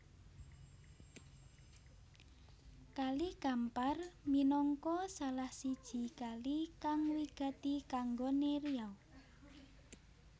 Kali Kampar minangka salah siji kali kang wigati kanggoné Riau